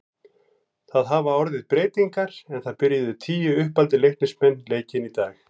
Það hafa orðið breytingar en það byrjuðu tíu uppaldir Leiknismenn leikinn í dag.